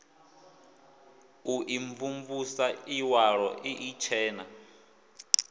u imvumvusa iwalo ii itshena